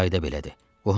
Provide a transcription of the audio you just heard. bizdə qayda belədi.